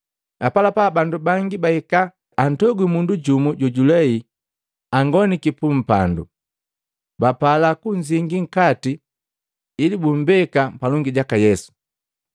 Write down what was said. Apalapa bandu bangi bahika antogwi mundu jumu jojulei angoniki pu mpandu, bapala kunzingi nkati ili bummbeka palongi jaka Yesu.